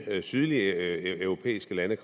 sydlige europæiske lande